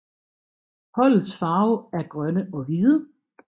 Holdets farver er grønne og hvide